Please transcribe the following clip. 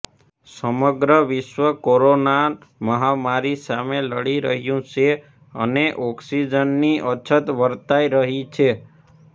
સમગ્ર વિશ્વ કોરોના મહામારી સામે લડી રહ્યું છે અને ઓક્સીજનની અછત વર્તાય રહી છે